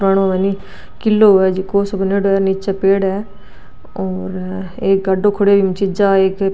पुरानो हे नी किलो हुवे जको सो बणयोडो है निचे पेड़ है और एक गाडो खड़यो है इम चीजा एक --